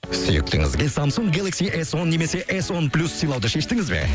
сүйіктіңізге самсунг гелекси эс он немесе эс он плюс сыйлауды шештіңіз бе